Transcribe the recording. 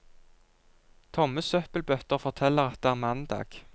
Tomme søppelbøtter forteller at det er mandag.